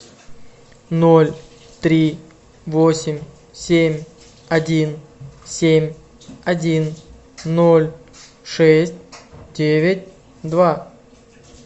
ноль три восемь семь один семь один ноль шесть девять два